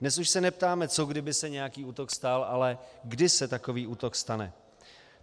Dnes už se neptáme, co kdyby se nějaký útok stal, ale kdy se takový útok stane.